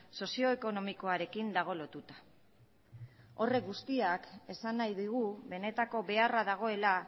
sozioekonomikoarekin dago lotuta horrek guztiak esan nahi digu benetako beharra dagoela